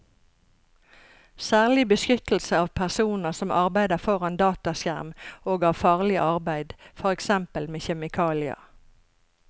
Særlig beskyttelse av personer som arbeider foran dataskjerm og av farlig arbeid, for eksempel med kjemikalier.